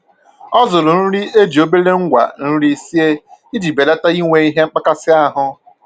Ọ zụrụ nri e ji obere ngwa nri sie iji belata inwe ihe mmkpakasị ahụ